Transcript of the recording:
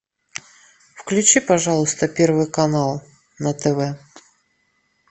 включи пожалуйста первый канал на тв